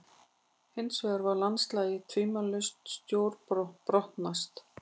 Hinsvegar var landslagið tvímælalaust stórbrotnast.